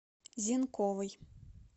зенковой